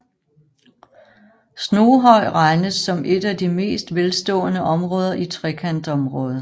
Snoghøj regnes som et af de mest velstående områder i Trekantområdet